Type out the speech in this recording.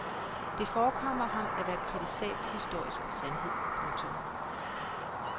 Det forekommer ham at være en kritisabel historisk sandhed. punktum